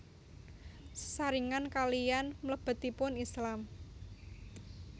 Sesarengan kaliyan mlebetipun Islam